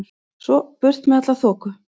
Svo burt með alla þoku.